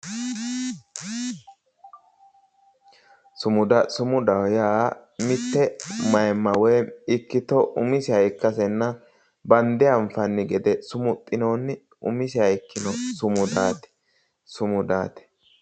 Sumuda sumudaho yaa mitte maayiimma woyi ikkito umiseha ikkasenna bande anfanni gede sumu'xinoonni umiseha ikkino sumudaati.